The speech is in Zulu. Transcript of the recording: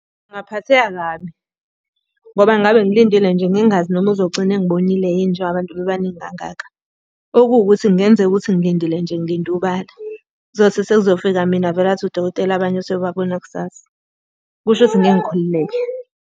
Ngingaphatheka kabi, ngoba ngabe ngilindile nje ngingazi noma uzogcina engibonile yini njengoba abantu bebaningi kangaka. Okuwukuthi kungenzeka ukuthi ngilindile nje ngilinde ubala. Kuzothi sekuzofika mina avele athi udokotela abanye useyobabona kusasa. Kusho ukuthi ngeke ngikhululeke.